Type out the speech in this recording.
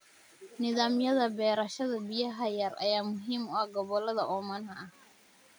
Nidaamyada beerashada biyaha yar ayaa muhiim u ah gobollada oomanaha ah.